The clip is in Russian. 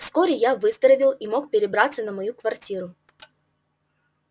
вскоре я выздоровел и мог перебраться на мою квартиру